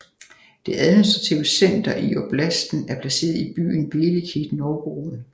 Det administrative center i oblasten er placeret i byen Velikij Novgorod